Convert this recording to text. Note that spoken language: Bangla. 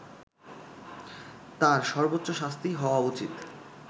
তার সর্বোচ্চ শাস্তিই হওয়া উচিৎ